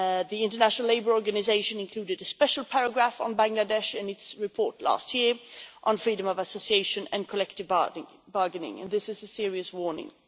The International Labour Organization included a special paragraph on Bangladesh in its report last year on freedom of association and collective bargaining, and this is a serious warning.